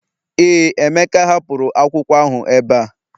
Ee, Emeka hapụrụ bụ akwụkwọ ahụ ebe a